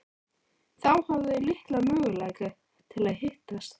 Þá hafa þau litla möguleika til að hittast.